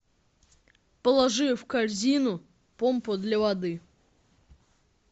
положи в корзину помпа для воды